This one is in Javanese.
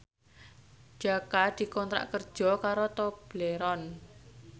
Jaka dikontrak kerja karo Tobleron